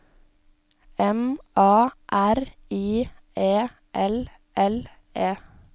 M A R I E L L E